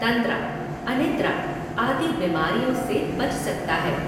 तन्द्रा, अनिद्रा, आदि बिमारियों से बच सकता है।